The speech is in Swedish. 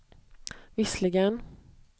visserligen